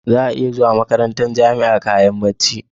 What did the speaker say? Za'a iya zuwa makarantar jamia da kayan bacci